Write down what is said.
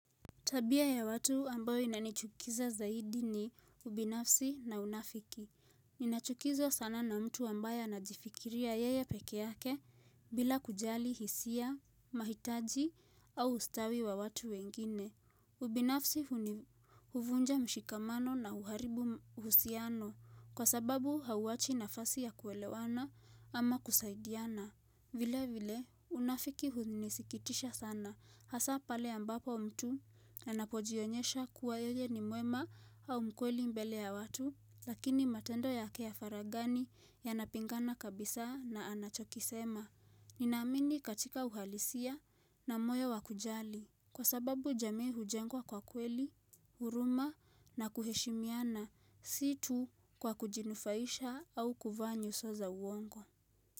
Tabia ya watu ambayo inanichukiza zaidi ni ubinafsi na unafiki. Ninachukizwa sana na mtu ambaye anajifikiria yeye peke yake bila kujali hisia, mahitaji au ustawi wa watu wengine. Ubinafsi huvunja mshikamano na uharibu uhusiano kwa sababu hauachi nafasi ya kuelewana ama kusaidiana. Vile vile unafiki hunisikitisha sana hasa pale ambapo mtu anapojionyesha kuwa yeye ni mwema au mkweli mbele ya watu lakini matendo yake ya faraghani yanapingana kabisa na anachokisema. Ninaamini katika uhalisia na moyo wa kujali kwa sababu jamii hujengwa kwa kweli, huruma na kuheshimiana si tu kwa kujinufaisha au kuvaa nyuso za uongo.